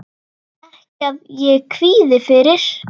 Ekki að ég kvíði fyrir.